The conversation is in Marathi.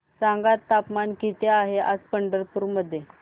सांगा तापमान किती आहे आज पंढरपूर मध्ये